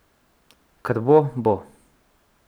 Kar bo, bo.